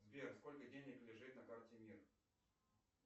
сбер сколько денег лежит на карте мир